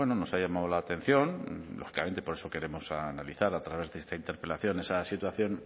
nos ha llamado la atención lógicamente por eso queremos analizar a través de esta interpelación esa situación